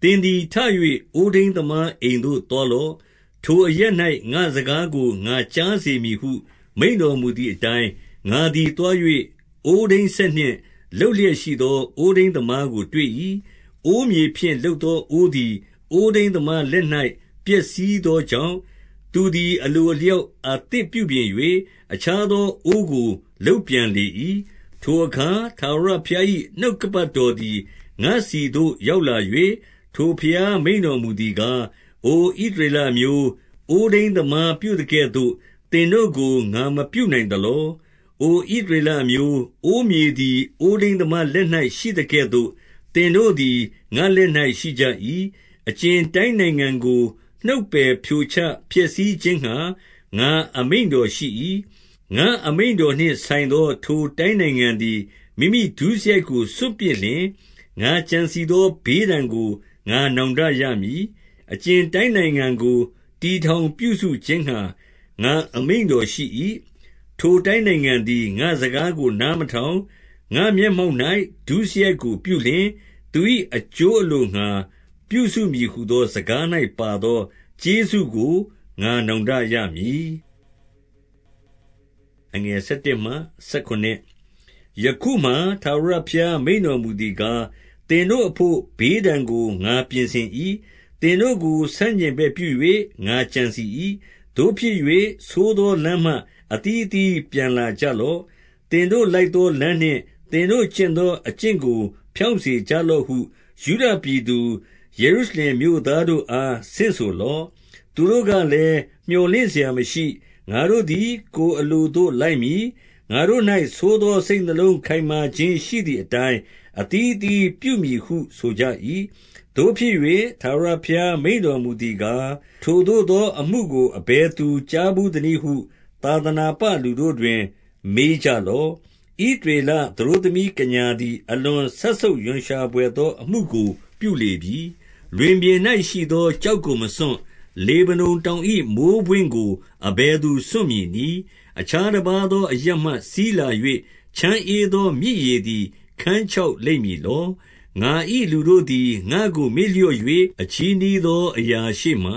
၊ သင်သည် ထ၍ အိုးထိန်းသမားအိမ်သို့ သွား လော့။ ထိုအရပ်၌ ငါ့စကားကို ငါကြားစေမည်ဟု မိန့်တော်မူသည်အတိုင်း၊ ငါသည်သွား၍၊ အိုးထိန်းစက်နှင့် လုပ်လျက်ရှိ သော အိုးထိန်းသမားကိုတွေ့၏။ အိုးမြေဖြင့် လုပ်သောအိုးသည်၊ အိုးထိန်းသမား လက်၌ ပျက်စီးသောကြောင့်၊ သူသည် အလိုအလျောက် အသစ်ပြုပြင်၍၊ အခြားသောအိုးကို လုပ်ပြန်လေ၏။ ထိုအခါ ထာဝရဘုရား၏ နှုတ်ကပတ်တော် သည် ငါ့ဆီသို့ ရောက်လာ၍၊ ထာဝရဘုရားမိန့်တော်မူ သည်ကား၊ အို ဣသရေလအမျိုး၊ အိုးထိန်းသမားပြုသကဲ့သို့ သင်တို့ကို ငါမပြုနိုင်သလော။ အို ဣသရေလ အမျိုး၊ အိုးမြေသည် အိုးထိန်းသမားလက်၌ ရှိသကဲ့သို့ သင်တို့ သည် ငါ့လက်၌ရှိကြ၏။ အကြင် တိုင်းနိုင်ငံကို နှုတ်ပယ်ဖြိုချဖျက်ဆီးခြင်း ငှါ ငါအမိန့်တော်ရှိ၏။ ငါ့အမိန့်တော်နှင့် ဆိုင်သော ထိုတိုင်းနိုင်ငံသည် မိမိဒုစရိုက်ကို စွန့်ပစ်လျှင်၊ ငါကြံစည်သော ဘေးဒဏ်ကို ငါနောင်တရမည်။ အကြင်တိုင်းနိုင်ငံကို တည်ထောင်ပြုစုခြင်းငှါ ငါအမိန့်တော်ရှိ၏။ ထိုတိုင်းနိုင်ငံသည် ငါ့စကားကို နားမထောင်၊ ငါ့မျက်မှောက်၌ ဒုစရိုက်ကိုပြုလျှင်၊ သူ၏အကျိုးအလိုငှါ ပြုစုမည်ဟူသောစကား၌ပါသော ကျေးဇူးကို ငါနောင်တ ရမည်။ ယခုမှာ ထာဝရဘုရား မိန့်တော်မူသည်ကား၊ သင်တို့အဘို့ ဘေးဒဏ်ကို ငါပြင်ဆင်၏။ သင်တို့ကို ဆန့်ကျင်ဘက်ပြု၍ ငါကြံစည်၏။ သို့ဖြစ်၍၊ ဆိုးသော လမ်းမှ အသီးအသီး ပြန်လာကြလော့။ သင်တို့လိုက်သော လမ်းနှင့် သင်တို့ကျင့်သော အကျင့်ကို ဖြောင့်စေကြလော့ ဟု၊ ယုဒပြည်သူ၊ ယေရုရှလင်မြို့သားတို့အား ဆင့်ဆို လော့။ သူတို့ကလည်း၊ မြော်လင့်စရာမရှိ။ ငါတို့သည် ကိုယ်အလိုသို့ လိုက်မည်။ ငါတို့၌ ဆိုးသော စိတ်နှလုံး ခိုင်မာခြင်းရှိသည်အတိုင်း၊ အသီးအသီးပြုမည်ဟု ဆိုကြ ၏။ သို့ဖြစ်၍၊ ထာဝရဘုရား မိန့်တော်မူသည်ကား၊ ထိုသို့သော အမှုကို အဘယ်သူကြားဘူးသနည်းဟု သာသနာပလူတို့တွင် မေးကြလော့။ ဣသရေလ သတို့သမီးကညာသည် အလွန်စက်ဆုပ်ရွံရှာဘွယ်သော အမှုကို ပြုလေပြီ။ လွင်ပြင်၌ရှိသော ကျောက်ကို မစွန့်၊ လေဗနုန် တောင်၏ မိုဃ်းပွင့်ကို အဘယ်သူ စွန့်မည်နည်း။ အခြား တပါးသော အရပ်မှစီးလာ၍ ချမ်းဧသော မြစ်ရေသည် ခန်းခြောက်လိမ့်မည်လော။ ငါ၏လူတို့သည် ငါ့ကိုမေ့လျော့၍၊ အချည်းနှီး သော အရာရှေ့မှာ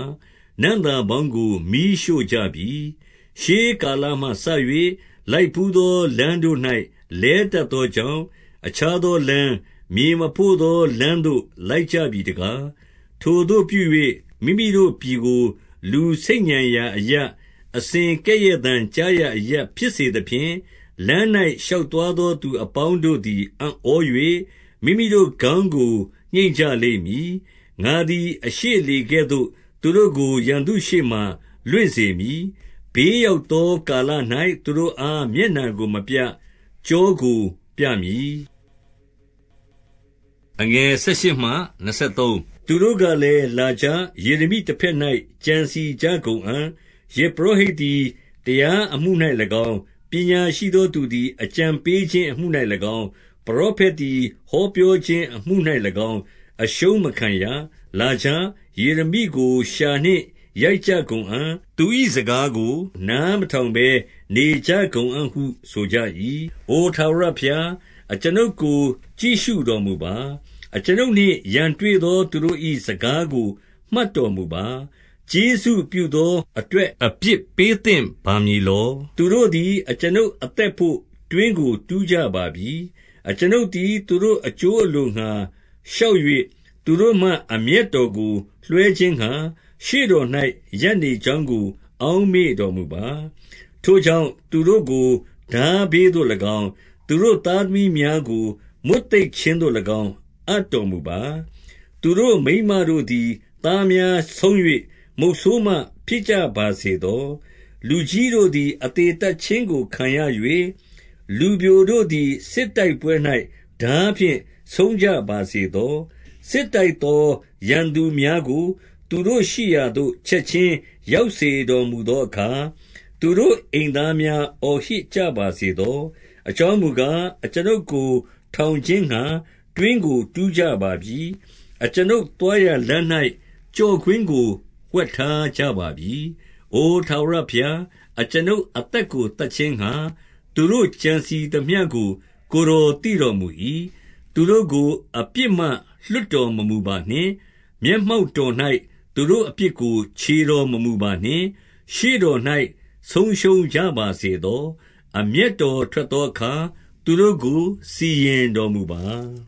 နံ့သာပေါင်းကို မီးရှို့ကြပြီ။ ရှေးကာလ မှစ၍ လိုက်ဘူးသော လမ်းတို့၌လဲ တတ်သောကြောင့်၊ အခြားသောလမ်း၊ မြေမဖို့သောလမ်းသို့ လိုက်ကြပြီ တကား။ ထိုသို့ပြု၍ မိမိတို့ပြည်ကို လူဆိတ်ညံရာအရပ်၊ အစဉ်ကဲ့ရဲ့သံ ကြားရာအရပ်ဖြစ်စေသဖြင့်၊ လမ်း၌ ရှောက်သွားသော သူအပေါင်းတို့သည် အံ့ဩ၍၊ မိမိတို့ ခေါင်းကို ညှိတ်ကြလိမ့်မည်။ ငါသည်အရှေ့လေကဲ့သို့ သူတို့ကို ရန်သူရှေ့မှာ လွင့်စေမည်။ ဘေးရောက်သောကာလ၌ သူတို့အား မျက်နှာကို မပြ၊ ကျောကိုပြမည်။ သူတို့ကလည်း လာကြ။ ယေရမိတဘက်၌ ကြံစည်ကြကုန်အံ့။ ယဇ်ပုရောဟိတ်သည် တရားအမှု၌၎င်း၊ ပညာရှိသော သူသည် အကြံပေးခြင်းအမှု၌၎င်း၊ ပရောဖက်သည် ဟောပြောခြင်းအမှု၌၎င်း အရှုံးမခံရ။ လာကြ။ ယေရမိကိုလျှာနှင့်ရိုက်ကြကုန်အံ့။ သူ၏စကားကို နားမထောင် ဘဲနေကြကုန်အံ့ဟု ဆိုကြ၏။ အို ထာဝရဘုရား၊ အကျွန်ုပ်ကို ကြည့်ရှုတော် မူပါ။ အကျွန်ုပ်နှင့် ရန်တွေ့သော သူတို့၏ စကားကို မှတ်တော်မူပါ။ ကျေးဇူးပြုသော အတွက်အပြစ်ပေးသင့်ပါမည် လော။ သူတို့သည် အကျွန်ုပ်အသက်ဘို့ တွင်းကိုတူးကြ ပါပြီ။ အကျွန်ုပ်သည် သူတို့ အကျိုးအလိုငှါ လျှောက်၍၊ သူတို့မှ အမျက်တော်ကို လွှဲခြင်းငှါ၊ ရှေ့တော်၌ ရပ်နေ ကြောင်းကို အောက်မေ့တော်မူပါ။ ထိုကြောင့်၊ သူတို့ကို ထားဘေးသို့၎င်း၊ သူတို့သားသမီး များကို မွတ်သိပ်ခြင်းသို့၎င်း အပ်တော်မူပါ။ သူတို့မိန်းမ တို့သည် သားများဆုံး၍ မုတ်ဆိုးမဖြစ်ကြပါစေသော။ လူကြီးတို့သည် အသေသတ်ခြင်းကို ခံရ၍၊ လူပျိုတို့ လည်း စစ်တိုက်ပွဲ၌ထားဖြင့် ဆုံးကြပါစေသော။ စစ်တိုက်သော ရန်သူများကို သူတို့ရှိရာသို့ ချက်ခြင်းရောက်စေတော်မူသောအခါ၊ သူတို့အိမ်သားများ အော်ဟစ်ကြပါစေသော။ အကြောင်းမူကား၊ အကျွန်ုပ်ကို ထောင်ခြင်းငှါ တွင်းကိုတူးကြပါပြီ။ အကျွန်ုပ်သွားရာလမ်း ၌ ကျော့ကွင်းကို ဝှက်ထားကြပါပြီ။ အို ထာဝရဘုရား၊ အကျွန်ုပ်အသက်ကို သတ်ခြင်းငှါ၊ သူတို့ ကြံစည်သမျှကို ကိုယ်တော်သိတော် မူ၏။ သူတို့ကို အပြစ်မှလွှတ်တော် မမူပါနှင့်။ မျက်မှောက် တော်၌ သူတို့အပြစ်ကို ချေတော်မမူပါနှင့်။ ရှေ့တော်၌ ဆုံးရှုံးကြပါစေသော။ အမျက်တော်ထွက်သောအခါ၊ သူတို့ကို စီရင်တော်မူပါ